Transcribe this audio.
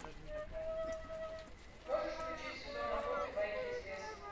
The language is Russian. можешь включить сезон охоты байки из леса